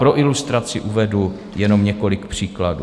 Pro ilustraci uvedu jenom několik příkladů.